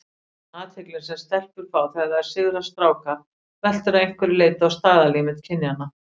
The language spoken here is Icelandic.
Athyglin sem stelpur fá þegar þær sigra stráka veltur að einhverju leyti á staðalmyndum kynjanna.